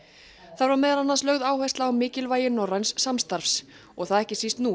þar var meðal annars lögð áhersla á mikilvægi norræns samstarfs og það ekki síst nú